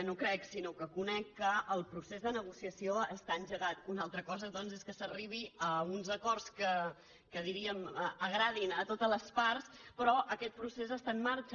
no crec sinó que conec que el procés de negociació està engegat una altra cosa doncs és que s’arribi a uns acords que diríem agradin a totes les parts però aquest procés està en marxa